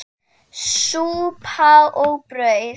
Súpa og brauð.